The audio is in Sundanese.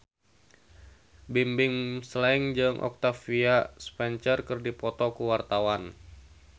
Bimbim Slank jeung Octavia Spencer keur dipoto ku wartawan